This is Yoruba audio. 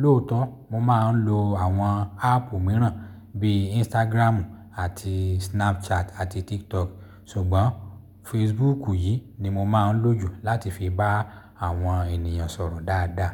Lóòótọ́ mo máa ń lo àwọn áàpù mìíràn bí Instagram àti Snapchat àti TikTok, ṣùgbọ́n Facebook yìí ni mo máa ń lò jù láti fi bá àwọn ènìyàn sọ̀rọ̀ dáadáa.